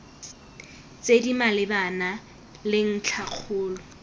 tse di malebana le ntlhakgolo